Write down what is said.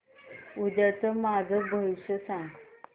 उद्याचं माझं भविष्य सांग